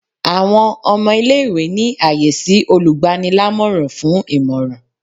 Awọn ọmọ ile-iwe ni aye si olugbaní-lamoran fun imọran